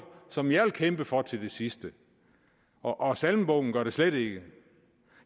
som jeg vil kæmpe for til det sidste og salmebogen gør det slet ikke